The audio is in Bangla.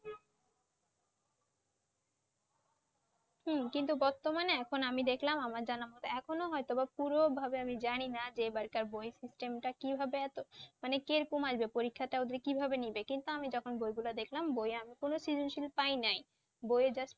হুম, কিন্তু বর্তমানে এখন আমি দেখলাম আমার যেন এখন ও হয়তো পুর ভাবে আর কি জানিনা যে এবারকার বই system টা কিভাবে এতো মানে কিরকম হয় যে পরীক্ষাটা ও যে কিভাবে নিবে কিন্তু আমি যখন বইগুলা দেখলাম বই এ আমি কোনও পাই নাই। বই এ just